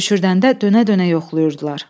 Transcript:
Düşürdəndə dönə-dönə yoxlayırdılar.